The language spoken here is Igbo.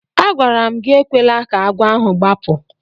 Agwara m gị ekwela ka agwọ ahụ gbapụ!